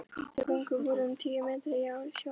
Þau göng voru um tíu metra yfir sjávarmáli.